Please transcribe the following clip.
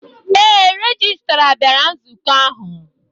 Ee, Rejistra bịara nzukọ ahụ.